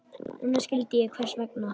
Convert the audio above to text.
Núna skildi hann hvers vegna.